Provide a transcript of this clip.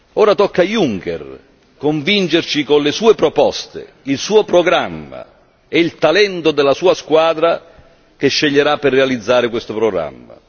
Ora tocca a Juncker convincerci con le sue proposte, il suo programma e il talento della sua squadra che sceglierà per realizzare questo programma.